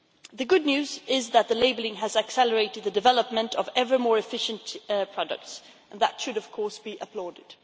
The good news is that the labelling has accelerated the development of ever more efficient products, and that should be applauded.